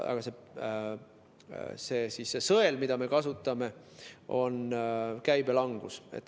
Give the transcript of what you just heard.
Aga see sõel, mida me kasutame, on käibe langus.